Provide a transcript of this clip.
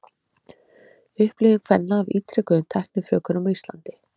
upplifun kvenna af ítrekuðum tæknifrjóvgunum á íslandi